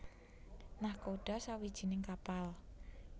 Nakhoda sawijining kapal